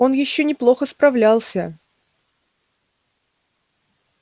он ещё неплохо справлялся